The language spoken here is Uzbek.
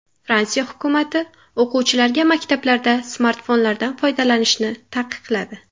Fransiya hukumati o‘quvchilarga maktablarda smartfonlardan foydalanishni taqiqladi.